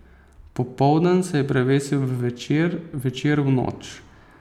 Popoldan se je prevesil v večer, večer v noč.